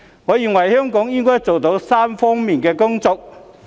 我認為香港應該做好3方面的工作。